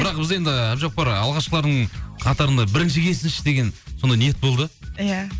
бірақ біз енді әбдіжаппар алғашқылардың қатарында бірінші келсінші деген сондай ниет болды иә